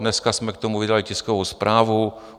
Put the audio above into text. Dneska jsme k tomu vydali tiskovou zprávu.